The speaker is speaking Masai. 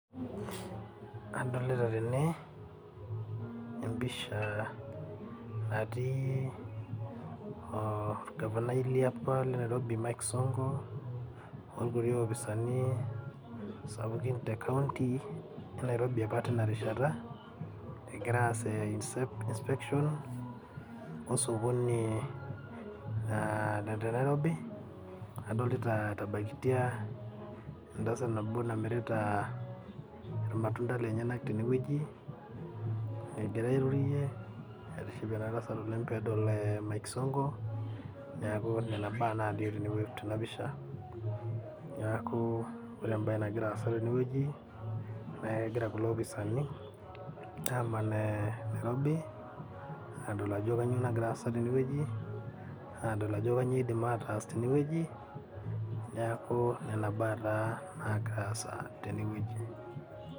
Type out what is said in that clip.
Adolta tene empisha natii orgavanai liapa le nairobi mike sonko orkuti ofisani sapukin tekaunti enairobi apa tinarishata egira aas inspection osokoni lenaironi adolta etabakitia entasat nabo namirita irmatunda tenewueji egira airorie kingasie oleng pedol mike sonko neaku nona. Baa nalio tenapisha neaku ore embae nagira aasa tene na kegira kulo apisani aman nairobi ayiolou ajo kanyio nagira aasa tenewueji adol Ajo kanyio idim ataas tenewueji neakuna nagira aasa tenewueji.